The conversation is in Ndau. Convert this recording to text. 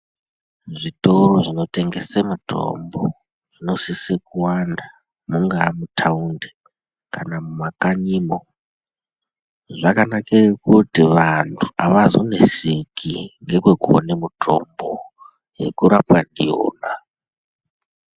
Zvitoro zvinotengese mutombo zvinosise kuwanda mungava mutaundi kana mumakanyimo, zvakanakire kuti vantu havazoneseki ndokwekuone mutombo yekurapwa ndiyonaa.